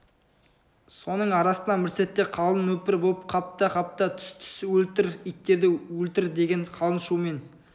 соның арасынан бір сәтте қалың нөпір боп қапта қапта түс-түс өлтір иттерді өлтір деген қалың шумен